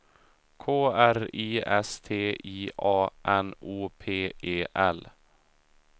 K R I S T I A N O P E L